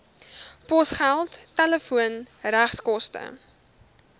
posgeld telefoon regskoste